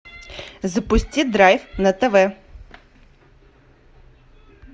запусти драйв на тв